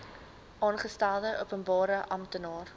aangestelde openbare amptenaar